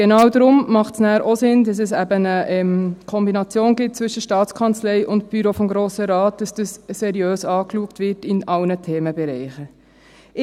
Genau deshalb macht es auch Sinn, dass es eine Kombination gibt zwischen Staatskanzlei und Büro des Grossen Rates, damit es für alle Themenbereiche seriös angeschaut wird.